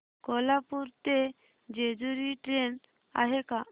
कोल्हापूर ते जेजुरी ट्रेन आहे का